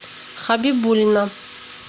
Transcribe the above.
хабибулина